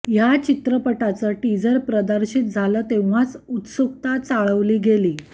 ह्या चित्रपटाचं टीजर प्रदर्शित झालं तेंव्हाच उत्सुकता चाळवली गेली